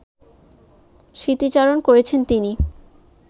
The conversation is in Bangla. স্মৃতিচারণ করেছেন তিনি